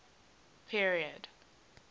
period